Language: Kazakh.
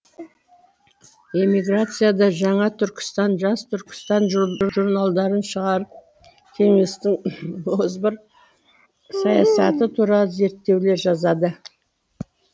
эмиграцияда жаңа түркістан жас түркістан журналдарын шығарып кеңестің озбыр саясаты туралы зерттеулер жазады